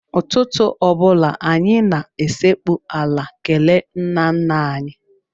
Ụtụtụ ọ bụla, anyị na-esekpu ala kelee nnanna anyị.